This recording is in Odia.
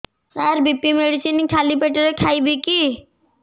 ସାର ବି.ପି ମେଡିସିନ ଖାଲି ପେଟରେ ଖାଇବି କି